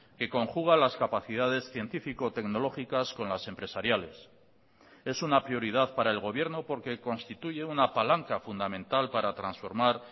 que conjuga las capacidades científico tecnológicas con las empresariales es una prioridad para el gobierno porque constituye una palanca fundamental para transformar